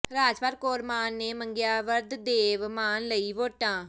ਰਾਜਪਾਲ ਕੌਰ ਮਾਨ ਨੇ ਮੰਗੀਆਂ ਵਰਦੇਵ ਮਾਨ ਲਈ ਵੋਟਾਂ